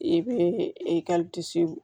I bɛ